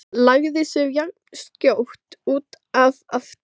Lagði sig jafnskjótt út af aftur.